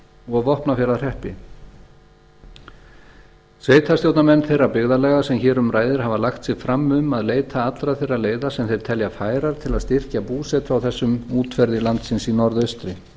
og vopnafjarðarhreppi sveitarstjórnarmenn þeirra byggðarlaga sem hér um ræðir hafa lagt sig fram um að leita allra þeirra leiða sem þeir telja færar til að styrkja búsetu á þessum útverði landsins í norðaustri